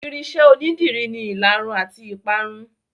Irinṣẹ́ onídìrí ni ìlarun àti ìparun.